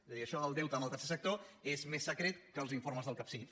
és a dir això del deute amb el tercer sector és més secret que els informes del capsif